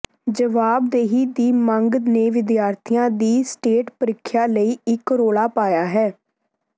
ਜਵਾਬਦੇਹੀ ਦੀ ਮੰਗ ਨੇ ਵਿਦਿਆਰਥੀਆਂ ਦੀ ਸਟੇਟ ਪ੍ਰੀਖਿਆ ਲਈ ਇੱਕ ਰੌਲਾ ਪਾਇਆ ਹੈ